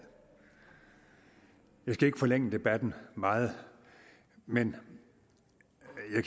skal ikke forlænge debatten meget men